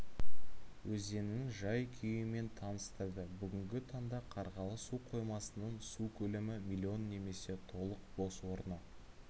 өзенінің жай-күйімен таныстырды бүгінгі таңда қарғалы су қоймасының су көлемі млн немесе толық бос орны